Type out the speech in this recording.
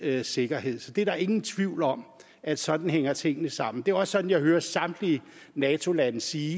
sikkerhed så der er ingen tvivl om at sådan hænger tingene sammen det er også sådan jeg hører samtlige nato lande sige